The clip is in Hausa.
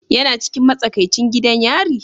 Yana cikin matsakaicin gidan yari?